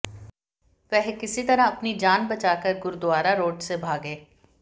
वह किसी तरह अपनी जान बचा कर गुरुद्वारा रोड से भागे